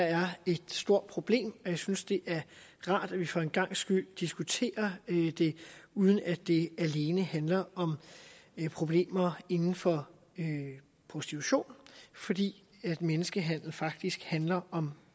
er et stort problem og jeg synes det er rart at vi for en gangs skyld diskuterer det uden at det alene handler om problemer inden for prostitution fordi menneskehandel faktisk handler om